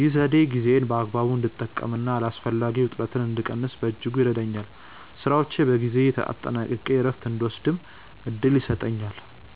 ይህ ዘዴ ጊዜዬን በአግባቡ እንድጠቀምና አላስፈላጊ ውጥረትን እንድቀንስ በእጅጉ ይረዳኛል። ስራዎቼን በጊዜ አጠናቅቄ እረፍት እንድወስድም እድል ይሰጠኛል።